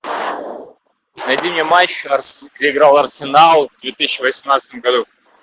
найди мне матч где играл арсенал в две тысячи восемнадцатом году